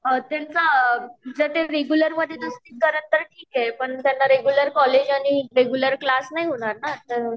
त्याचं जर ते रेगुलर मध्ये नसतील तर ठीक आहे पण रेगुलर कॉलेज आणि रेगुलर क्लास नाही होणार न त्यामुळे